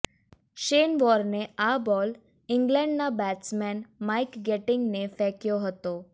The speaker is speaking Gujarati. શેન વોર્ને આ બોલ ઈંગ્લેન્ડના બેટસમેન માઈક ગેટિંગને ફેંકયો હતો